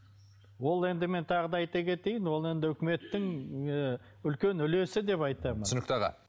ол енді мен тағы да айта кетейін ол енді үкіметтің ы үлкен үлесі деп айтамын түсінікті аға